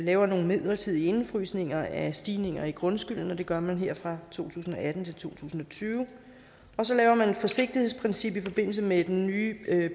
laver nogle midlertidige indefrysninger af stigninger i grundskylden og det gør man her fra to tusind og atten til to tusind og tyve og så laver man et forsigtighedsprincip i forbindelse med den nye